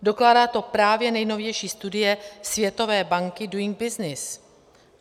Dokládá to právě nejnovější studie Světové banky Doing Business.